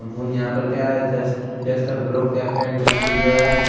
यहाँ पर क्या है डस्ट-डस्ट आ बरो क्रेपेन इंडस्ट्री है।